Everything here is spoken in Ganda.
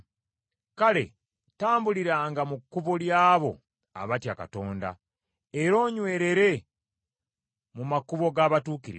Kale tambuliranga mu kkubo ly’abo abatya Katonda era onywerere mu makubo g’abatuukirivu.